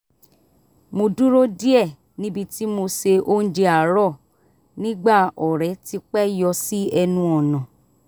mo dúró díẹ̀ níbi tí mo ṣe oúnjẹ àárọ̀ nígbà ọ̀rẹ́ ti pẹ́ yọ sí ẹnu ọ̀nà